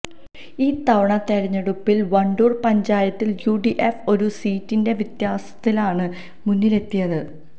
ഈ തവണ തെരഞ്ഞെടുപ്പിൽ വണ്ടൂർ പഞ്ചായത്തിൽ യുഡിഎഫ് ഒരു സീറ്റിന്റെ വ്യത്യാസത്തിലാണ് മുന്നിലെത്തിയത്